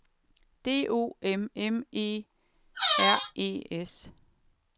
D O M M E R E S